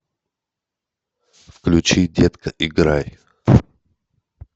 включи детка играй